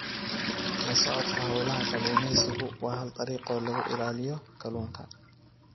La socodka hawlaha kalluumaysigu waa hal dariiqo oo lagu ilaaliyo kalluunka.